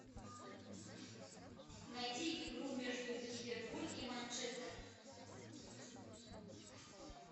найти игру между ливерпуль и манчестер